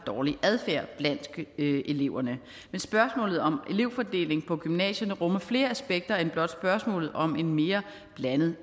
dårlig adfærd blandt eleverne men spørgsmålet om elevfordeling på gymnasierne rummer flere aspekter end blot spørgsmålet om en mere blandet